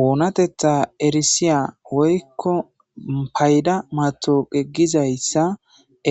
Oonatetha erisiya woykko payda matoqe gizayssa